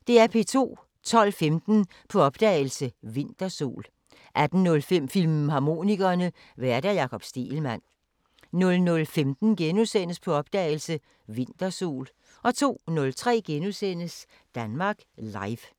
12:15: På opdagelse – Vintersol 18:05: Filmharmonikerne: Vært Jakob Stegelmann 00:15: På opdagelse – Vintersol * 02:03: Danmark Live *